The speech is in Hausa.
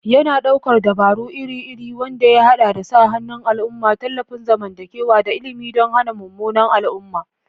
Yana ɗaukar dabaru iri-iri wanda ya haɗa da sa hannun al'umma, tallafin zamantakewa, da ilimi don hana munanan al'umma.